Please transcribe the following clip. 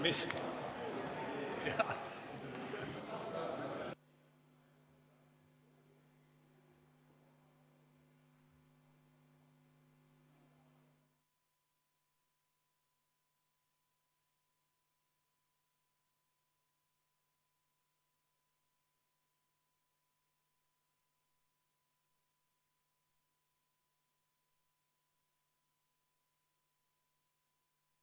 Istungi lõpp kell 14.00.